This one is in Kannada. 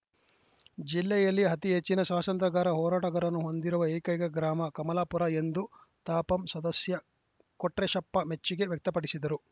ಜಿಲ್ಲೆಯಲ್ಲಿ ಅತೀ ಹೆಚ್ಚಿನ ಸ್ವಾತಂತ್ರ ಹೋರಾಟಗಾರರನ್ನು ಹೊಂದಿರುವ ಏಕೈಕ ಗ್ರಾಮ ಕಮಲಾಪುರ ಎಂದು ತಾಪಂ ಸದಸ್ಯ ಕೊಟ್ರೇಶಪ್ಪ ಮೆಚ್ಚುಗೆ ವ್ಯಕ್ತಪಡಿಸಿದರು